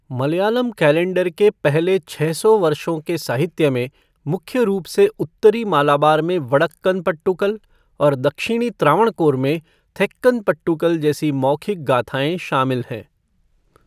Malayalam calendar के पहले छः सौ वर्षों के साहित्य में मुख्य रूप से उत्तरी मालाबार में वडक्कन पट्टुकल और दक्षिणी त्रावणकोर में थेक्कन पट्टुकल जैसी मौखिक गाथाएं शामिल हैं।